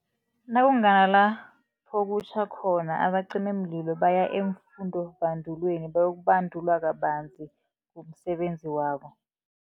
Nakunganalapho kutjha khona abacimimlilo baya eemfundobandulweni bayokubandulwa kabanzi ngomsebenzi wabo.